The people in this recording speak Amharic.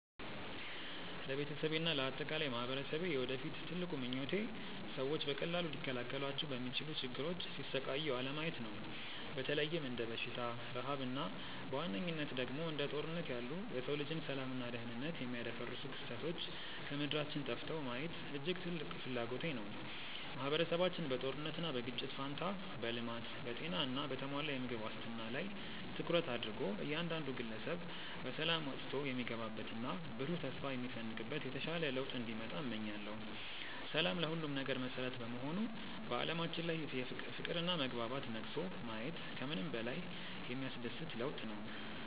ለቤተሰቤና ለአጠቃላይ ማኅበረሰቤ የወደፊት ትልቁ ምኞቴ ሰዎች በቀላሉ ሊከላከሏቸው በሚችሉ ችግሮች ሲሰቃዩ አለማየት ነው። በተለይም እንደ በሽታ፣ ረሃብ እና በዋነኝነት ደግሞ እንደ ጦርነት ያሉ የሰው ልጅን ሰላምና ደኅንነት የሚያደፈርሱ ክስተቶች ከምድራችን ጠፍተው ማየት እጅግ ትልቅ ፍላጎቴ ነው። ማኅበረሰባችን በጦርነትና በግጭት ፋንታ በልማት፣ በጤና እና በተሟላ የምግብ ዋስትና ላይ ትኩረት አድርጎ እያንዳንዱ ግለሰብ በሰላም ወጥቶ የሚገባበትና ብሩህ ተስፋ የሚሰንቅበት የተሻለ ለውጥ እንዲመጣ እመኛለሁ። ሰላም ለሁሉም ነገር መሠረት በመሆኑ በዓለማችን ላይ ፍቅርና መግባባት ነግሶ ማየት ከምንም በላይ የሚያስደስት ለውጥ ነው።